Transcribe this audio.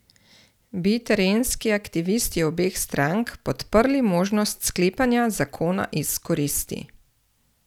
Bi terenski aktivisti obeh strank podprli možnost sklepanja zakona iz koristi?